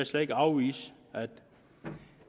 slet ikke afvise at